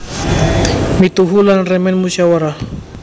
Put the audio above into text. Mituhu lan remen musyawarah